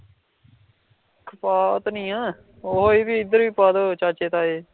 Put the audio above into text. ਇਹ ਵੀ ਪਾਦੋ ਚਾਚੇ ਤਾਏ